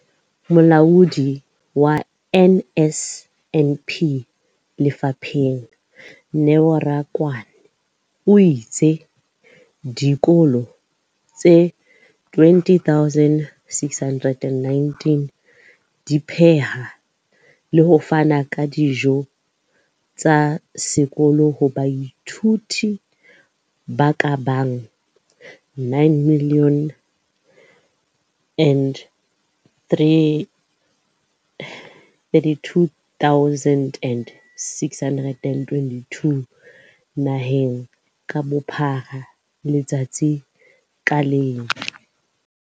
Molaodi wa NSNP lefapheng, Neo Rakwena, o itse dikolo tse 20 619 di pheha le ho fana ka dijo tsa sekolo ho baithuti ba ka bang 9 032 622 naheng ka bophara letsatsi ka leng.